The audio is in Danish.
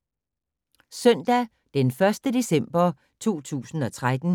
Søndag d. 1. december 2013